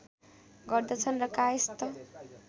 गर्दछन् र कायस्थ